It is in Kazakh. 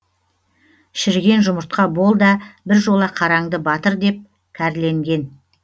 шіріген жұмыртқа бол да біржола қараңды батыр деп кәрленген